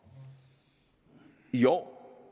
i år